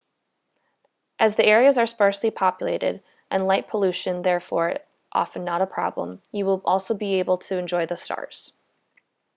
as the areas are sparsely populated and light pollution therefore often not a problem you will also be able to enjoy the stars